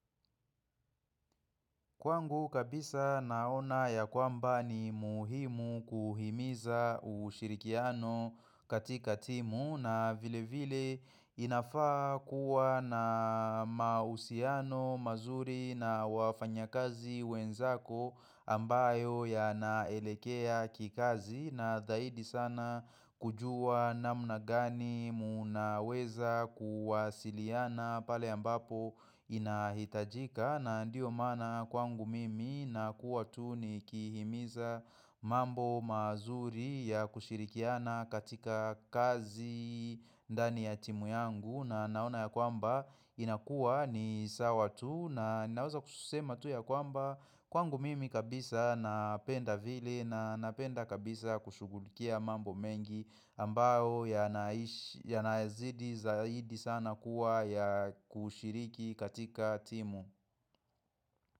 Kwangu kabisa naona ya kwamba ni muhimu kuhimiza ushirikiano katika timu na vile vile inafaa kuwa na mahusiano mazuri na wafanya kazi wenzako ambayo ya naelekea kikazi na dhaidi sana kujua na mnagani munaweza kuwasiliana pale ambapo inahitajika na ndiyo maana kwangu mimi na kuwa tu ni kihimiza mambo mazuri ya kushirikiana katika kazi ndani ya timu yangu na naona ya kwamba inakua ni sawa tu na ninaweza kususema tu ya kwamba Kwangu mimi kabisa napenda vile na napenda kabisa kushugulikia mambo mengi ambao ya naezidi zaidi sana kuwa ya kushiriki katika timu.